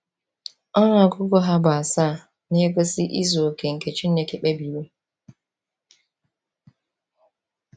Ọnụ ọgụgụ ha bụ asaa na-egosi izu oke nke Chineke kpebiri.